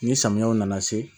Ni samiyaw nana se